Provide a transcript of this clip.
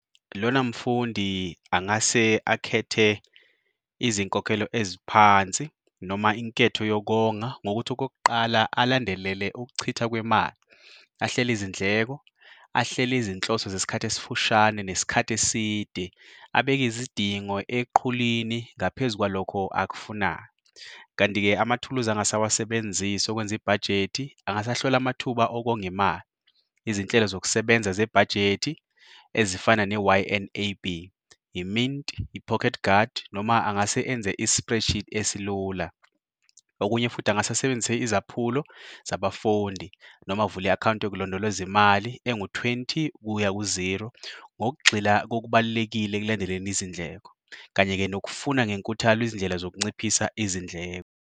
Lona mfundi angase akhethe izinkokhelo eziphansi noma inketho yokonga ngokuthi okokuqala alandelele ukuchitha kwemali, ahlele izindleko, ahlele izinhloso zesikhathi esifushane nesikhathi eside, abeke izidingo eqhulini ngaphezu kwalokho akufunayo. Kanti-ke amathuluzi angase awasebenzise okwenza ibhajethi angase ahlole amathuba okonga imali, izinhlelo zokusebenza zebhajethi ezifana ne-Y_N_A_B, i-Mint, i-Pocket Guard noma angase enze i-spreadsheet esilula. Okunye futhi angase asebenzise izaphulo zabafundi noma avule i-akhawunti yokulondoloza imali engu-twenty kuya ku-zero ngokugxila kokubalulekile ekulandeleni izindleko, kanye-ke nokufuna ngenkuthalo izindlela zokunciphisa izindleko.